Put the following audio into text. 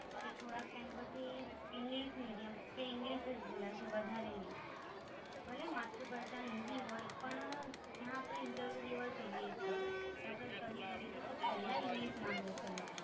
કે થોડાક time પછી English Medium કે English જ બોલશે વધારે નય, ભલે માતૃભાષા હિન્દી હોઈ પણ, જ્યાં અપને interview દેવા જઈએ છે, કે અપને study કરીએ છે તો પેલા English માંગે છે લોકો.